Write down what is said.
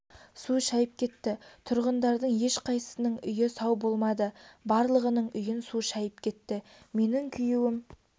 су шайып кетті тұрғындардың ешқайсысының үйі сау болмады барлығының үйін су шайып кетті менің күйеуім